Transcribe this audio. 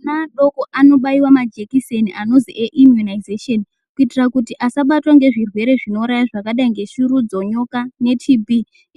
Ana adoko anobayiwa majekiseni anozi eimunisation kuitira kuti asabatwa ngezvirwere zvinouraya zvakadai kunge shurudzo nyoka ne TB